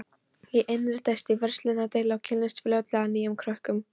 Ég innritaðist í verslunardeild og kynntist fljótlega nýjum krökkum.